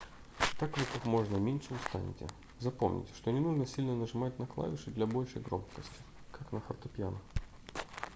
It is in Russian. так вы как можно меньше устанете запомните что не нужно сильно нажимать на клавиши для большей громкости как на фортепиано